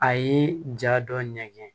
A ye ja dɔ ɲɛgɛn